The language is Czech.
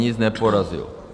Nic neporazil.